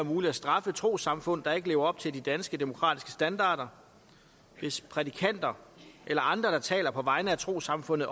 muligt at straffe trossamfund der ikke lever op til de danske demokratiske standarder hvis prædikanter eller andre der taler på vegne af et trossamfund